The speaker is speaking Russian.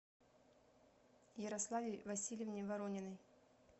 ярославе васильевне ворониной